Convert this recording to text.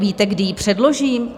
Víte, kdy ji předložím?